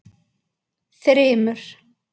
Þrymur